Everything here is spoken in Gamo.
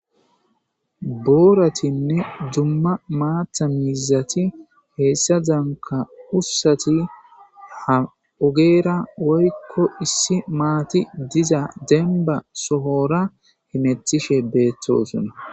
Booratinne dumma maata miizati heessa danka ussati ha ogeera woykko issi maati diza demba sohora himetishe beetosona.